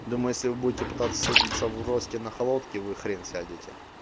дома если будете пытаться садится в росте на холодки вы хрен сядете